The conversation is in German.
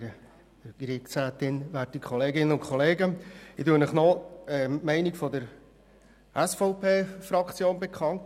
Ich gebe Ihnen die Meinung der SVP-Fraktion bekannt.